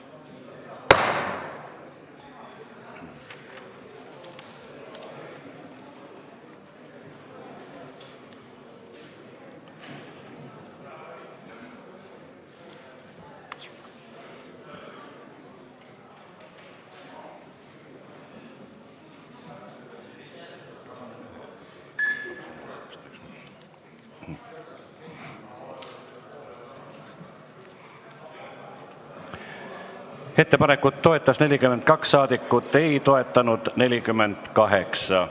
Hääletustulemused Ettepanekut toetas 42 ja ei toetanud 48 saadikut.